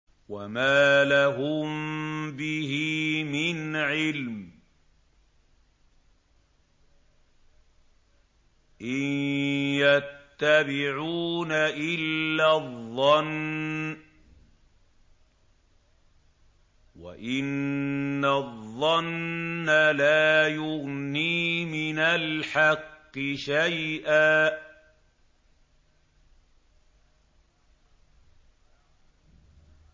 وَمَا لَهُم بِهِ مِنْ عِلْمٍ ۖ إِن يَتَّبِعُونَ إِلَّا الظَّنَّ ۖ وَإِنَّ الظَّنَّ لَا يُغْنِي مِنَ الْحَقِّ شَيْئًا